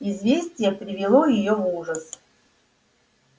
известие привело её в ужас